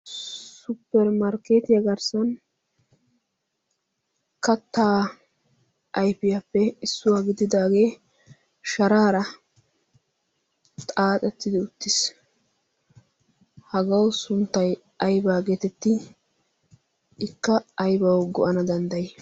supperimarkkeetiya garssan kattaa aifiyaappe issuwaa gididaagee sharaara xaaxettidi uttiis. hagawu sunttai aibaa geetetti ikka aibawu go7ana danddayi?